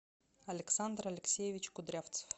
александр алексеевич кудрявцев